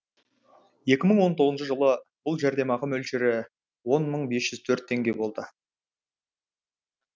екі мың он тоғызыншы жылы бұл жәрдемақы мөлшері он мың бес жүз төрт теңге болды